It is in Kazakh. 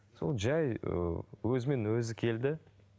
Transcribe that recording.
сол жай ыыы өзімен өзі келді